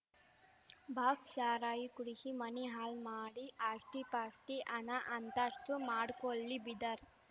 box ಶಾರಾಯಿ ಕುಡಿಸಿ ಮನಿ ಹಾಳ್‌ ಮಾಡಿ ಆಸ್ತಿಪಾಸ್ತಿ ಹಣ ಅಂತಸ್ತು ಮಾಡ್ಕೊಳ್ಳಿ ಬೀದರ್